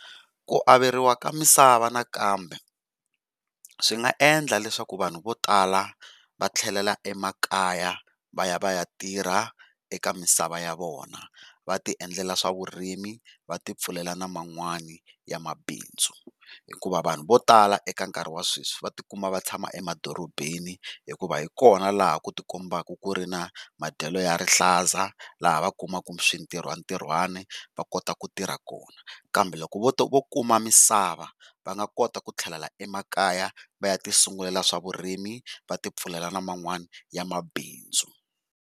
Ku averiwa ka misava nakambe swi nga endla leswaku vanhu vo tala va tlhelela emakaya vaya va ya tirha eka misava ya vona va ti endlela swa vurimi va ti pfulelela na man'wani ya mabindzu. Hikuva vanhu vo tala eka nkarhi wa sweswi va ti kuma va tshama emadorobeni, hikuva hi kona laha ku ti kombaka ku ri na madyelo ya rihlaza laha va kumaka swintirho ntirhwane va kota ku tirha kona. Kambe loko vo to vo kuma misava va nga kota ku tlhelela emakaya va ya ti sungulela swa vurimi va ti pfulela na man'wana ya mabindzu.